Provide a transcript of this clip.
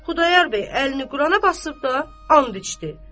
Xudayar bəy əlini Qurana basıb da and içdi.